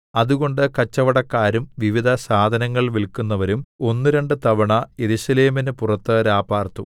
അതുകൊണ്ട് കച്ചവടക്കാരും വിവിധ സാധനങ്ങൾ വില്‍ക്കുന്നവരും ഒന്നുരണ്ട് തവണ യെരൂശലേമിന് പുറത്ത് രാപാർത്തു